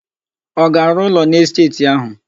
Ọ ga-arụ ụlọ n'esteeti áhụ̀?